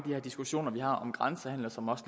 her diskussioner vi har om grænsehandel som også